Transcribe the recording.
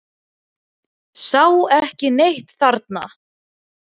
Sá ekki neitt þarna.